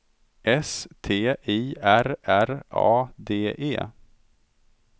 S T I R R A D E